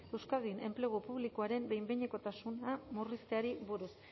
euskadin enplegu publikoaren behin behinekotasuna murrizteari buruz